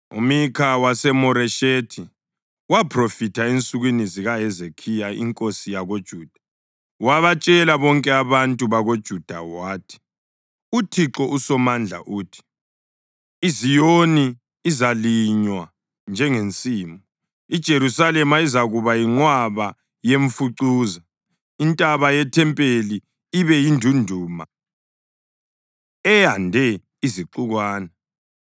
+ 26.18 UMikha 3.12“UMikha waseMoreshethi waphrofitha ensukwini zikaHezekhiya inkosi yakoJuda. Wabatshela bonke abantu bakoJuda wathi, ‘ UThixo uSomandla uthi: IZiyoni izalinywa njengensimu, iJerusalema izakuba yinqwaba yemfucuza, intaba yethempeli ibe yindunduma eyande izixukwana.’